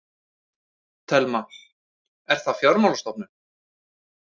Telma: Er það fjármálastofnun?